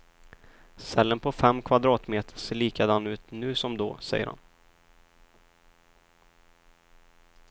Cellen på fem kvadratmeter ser likadan ut nu som då, säger han.